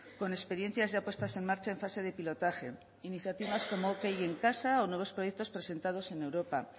con experiencias ya puestas en marcha en fase de pilotaje iniciativas como ok en casa o nuevos proyectos presentados en europa